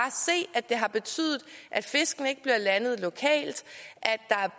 se at det har betydet at fiskene ikke bliver landet lokalt